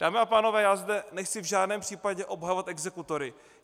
Dámy a pánové, já zde nechci v žádném případě obhajovat exekutory.